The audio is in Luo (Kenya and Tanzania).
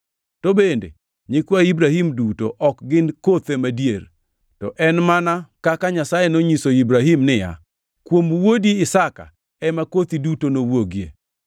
To bende, nyikwa Ibrahim duto ok gin kothe madier. To en mana kaka Nyasaye nonyiso Ibrahim niya, “Kuom wuodi Isaka ema kothi duto nowuogie.” + 9:7 \+xt Chak 21:12\+xt*